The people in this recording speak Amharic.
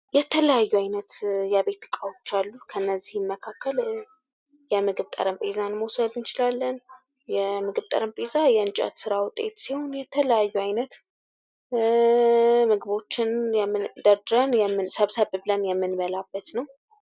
የተለያዩ ዓይነት የቤት ዕቃዎች አሉ። ከእነዚህም መካከል የምግብ ጠረጴዛ መውሰድ እንችላለን ።የምግብ ጠረጴዛ የእንጨት ሥራ ውጤት ሲሆን ፤የተለያዩ አይነት ምግቦችን ደርድረን ሰብሰብ ብለን የምንበላበት ነው።